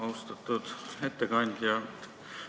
Austatud ettekandja!